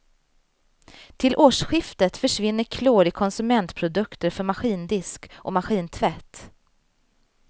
Till årsskiftet försvinner klor i konsumentprodukter för maskindisk och maskintvätt.